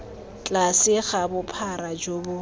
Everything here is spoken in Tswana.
tlase ga bophara jo bo